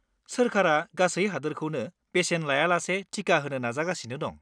सोरखारा गासै हादोरखौनो बेसेन लायालासे टिका होनो नाजागासिनो दं।